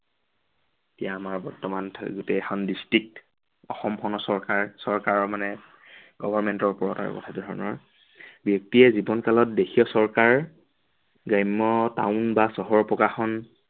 এতিয়া আমাৰ বৰ্তমান গোটেই কেইখন district অসমখনৰ চৰকাৰ, চৰকাৰৰ মানে government ৰ ওপৰত আৰু কথাটো তেনে ধৰনৰ। ব্য়ক্তিয়ে জীৱন কালত দেশীয় চৰকাৰ গ্ৰাম্য় town বা চহৰ প্ৰকাশন